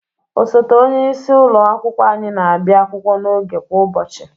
Osote onyeisi ụlọ akwụkwọ anyị na-abịa akwụkwọ n'oge kwa ụbọchị.